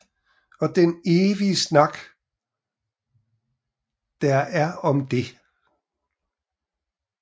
Og den evige snak der er om det